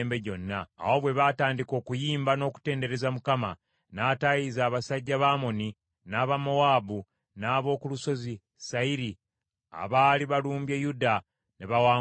Awo bwe batandika okuyimba n’okutendereza, Mukama n’ataayiza abasajja ba Amoni, n’aba Mowaabu, n’ab’oku Lusozi Seyiri, abaali balumbye Yuda, ne bawangulwa.